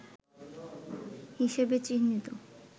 হিসেবে চিহ্নিত